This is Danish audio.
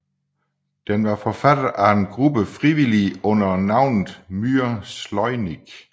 Den var forfattet af gruppe frivillige under navnet Myr Slovnyk